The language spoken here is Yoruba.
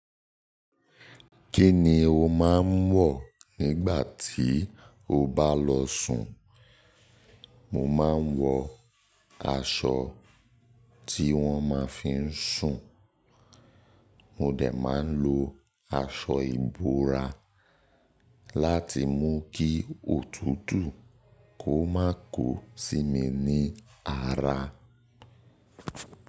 Kí ni o máa ń wọ̀ nígbà tí o bá lọ sùn? Mo máa ń wọ aṣọ tí wọ́n ma fi ń sùn. Mo dẹ̀ máa ń lo aṣọ ìbora láti mú kí òtútù kó má ko sí mi ní ara.